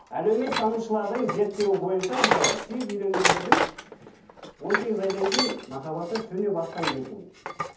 әлеуметтанушылардың зерттеуі бойынша енді сүйіп үйленгендердің он сегіз айдан кейін махаббаты сөне бастайды екен